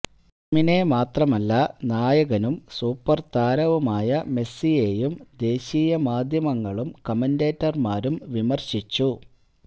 ടീമിനെ മാത്രമല്ല നായകനും സൂപ്പര് താരവുമായ മെസ്സിയെയും ദേശീയ മാധ്യമങ്ങളും കമന്റേറ്റര്മാരും വിമര്ശിച്ചു